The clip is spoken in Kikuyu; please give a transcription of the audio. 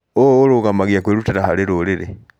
ũũ ũrũgamagia kwĩrutĩra harĩ rũrĩrĩ.